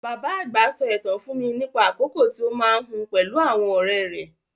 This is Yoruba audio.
Bàbá àgbà sọ ìtàn fún mi nípa àkókò tí ó máa ń hun pẹ̀lú àwọn ọ̀rẹ́ rẹ̀.